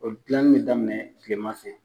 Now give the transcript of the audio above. O gilani be daminɛ kileman fɛ.